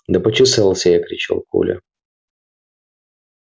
да почесался я кричал коля